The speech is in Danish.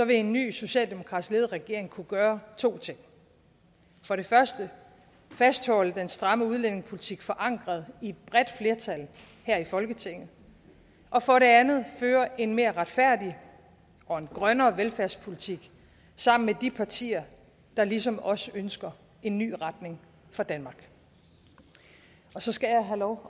en ny socialdemokratisk ledet regering kunne gøre to ting for det første fastholde den stramme udlændingepolitik forankret i et bredt flertal her i folketinget og for det andet føre en mere retfærdig og en grønnere velfærdspolitik sammen med de partier der ligesom os ønsker en ny retning for danmark så skal jeg have lov